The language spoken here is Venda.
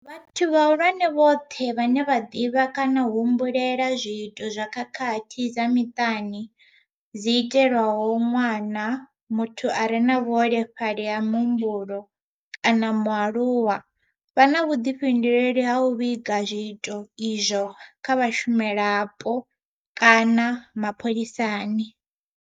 Vhathu vhahulwane vhoṱhe vhane vha ḓivha kana u humbulela zwiito zwa khakhathi dza miṱani dzi itelwaho ṅwana, muthu a re na vhuholefhali ha muhumbulo kana mualuwa vha na vhuḓifhinduleli ha u vhiga zwiito izwo kha vhashumelavhapo kana kha mapholisani.